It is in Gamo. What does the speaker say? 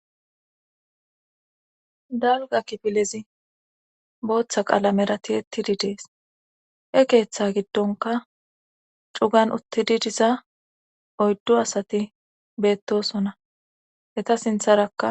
dalga kipilezi booththa qaalamerati ettidi dees he keeththa giddonka cugan uttidi diza oyddo asati beettosonna heta sintharakka